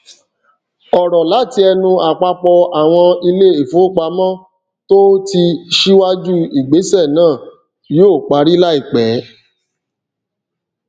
ọrọ láti ẹnu àpapọ àwọn ilé ìfowópamọ tó ti síwájú ìgbésẹ náà yóò parí láìpẹ